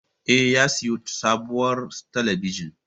Eh, ya siyo sabuwar talabijin